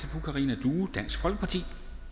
fru karina due dansk folkeparti